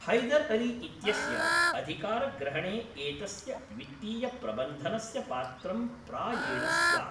हैदर् अली इत्यस्य अधिकारग्रहणे एतस्य वित्तीयप्रबन्धनस्य पात्रं प्रायेण स्यात्।